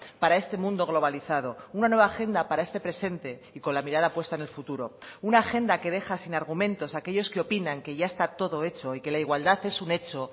para este mundo globalizado una nueva agenda para este presente y con la mirada puesta en el futuro una agenda que deja sin argumentos a aquellos que opinan que ya está todo hecho y que la igualdad es un hecho